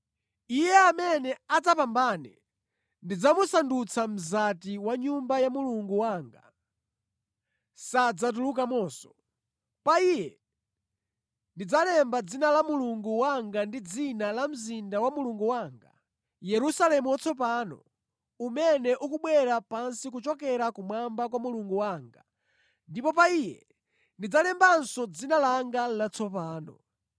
Iye amene adzapambane ndidzamusandutsa mzati wa mʼNyumba ya Mulungu wanga. Sadzatulukamonso. Pa iye ndidzalemba dzina la Mulungu wanga ndi dzina la mzinda wa Mulungu wanga, Yerusalemu watsopano, umene ukubwera pansi kuchokera kumwamba kwa Mulungu wanga; ndipo pa iye ndidzalembanso dzina langa latsopano.